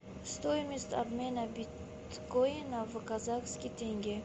стоимость обмена биткоина в казахский тенге